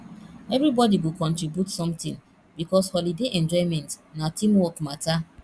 everybody go contribute something because holiday enjoyment na team work matter